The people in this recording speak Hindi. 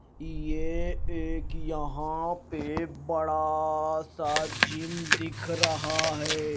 यह एक यहां पे बड़ा सा जिम दिख रहा है।